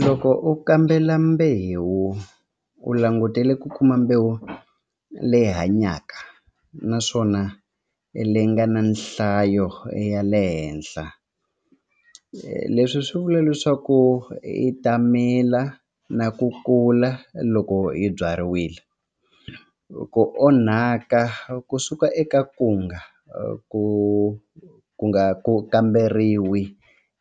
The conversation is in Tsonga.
Loko u kambela mbewu u langutele ku kuma mbewu leyi hanyaka naswona leyi nga na nhlayo ya le henhla leswi swi vula leswaku i ta mila na ku kula loko yi byariwile ku onhaka kusuka eka ku nga ku ku nga ku kamberiwi